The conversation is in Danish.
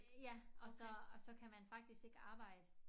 Ja og så og så kan man faktisk ikke arbejde